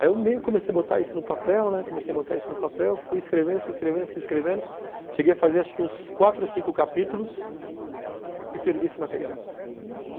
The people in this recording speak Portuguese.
Aí eu meio que comecei a botar isso no papel, né, comecei a botar isso no papel, fui escrevendo, fui escrevendo, fui escrevendo, cheguei a fazer acho que uns quatro ou cinco capítulos e perdi esse material.